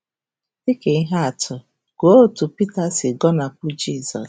Dị ka ihe atụ, gụọ otú Pita si gọnahụ Jizọs.